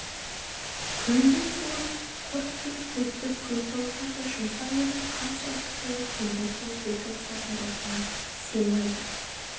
көлдің суын құрт деп төстік көлтауысарды жұмсап еді қанша ұрттаса да көлдің суы көлтауысардың ұртына сыймайды